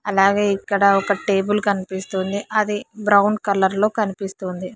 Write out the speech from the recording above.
అలాగే ఇక్కడ ఒక టేబుల్ కనిపిస్తుంది అది బ్రౌన్ కలర్ లో కనిపిస్తుంది.